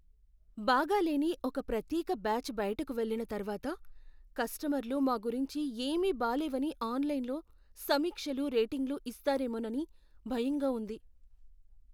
బాగాలేని ఒక ప్రత్యేక బ్యాచ్ బయటకు వెళ్లిన తర్వాత, కస్టమర్లు మా గురించి ఏమీ బాలేవని ఆన్లైన్లో సమీక్షలు, రేటింగులు ఇస్తారేమోనని భయంగా ఉంది.